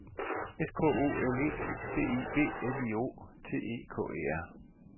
S K O L E B I B L I O T E K E R